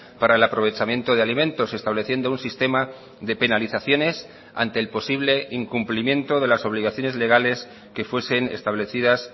para el aprovechamiento de alimentos estableciendo un sistema de penalizaciones ante el posible incumplimiento de las obligaciones legales que fuesen establecidas